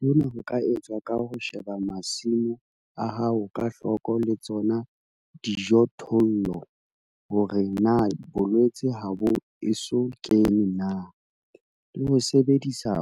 Hona ho ka etswa ka ho sheba masimo a hao ka hloko le tsona dijothollo hore na bolwetse ha bo eso kene na, le ho sebedisa